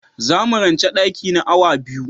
Za mu ranche daki na awa biyu.